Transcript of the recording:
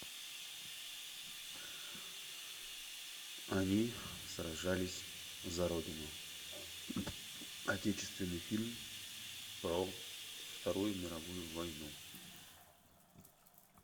они сражались за родину отечественный фильм про вторую мировую войну